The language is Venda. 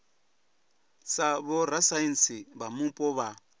sa vhorasaintsi vha mupo vha